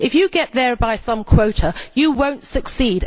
If you get there by some quota, you will not succeed.